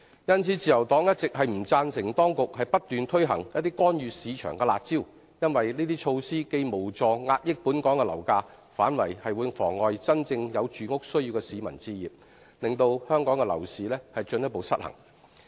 因此，自由黨一直不贊成當局不斷推行一些干預市場的"辣招"，因為這些措施既無助遏抑本港樓價，反而會妨礙真正有住屋需要的市民置業，令香港樓市進一步失衡。